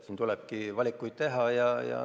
Siin tulebki valikuid teha.